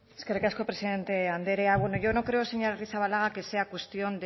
eskerrik asko presidenta andrea bueno yo no creo señora arrizabalaga que sea cuestión